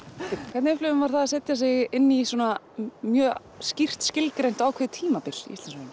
hvernig upplifir maður það að setja sig inn í svona mjög skýrt skilgreint og ákveðið tímabil